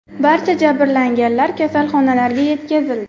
Barcha jabrlanganlar kasalxonalarga yetkazildi.